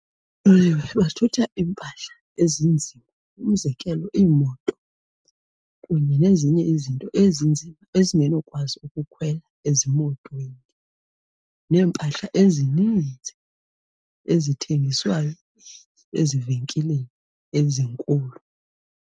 Oololiwe bathutha iimpahla ezinzima. Umzekelo, iimoto kunye nezinye izinto ezinzima ezingenokwazi ukukhwela ezimotweni neempahla ezininzi ezithengiswayo ezivenkileni ezinkulu.